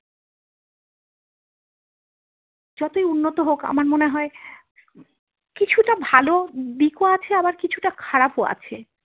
যতই উন্নত হোক আমার মনে হয় কিছুটা ভালো দিক ও আছে আবার কিছুটা খারাপ ও আছে।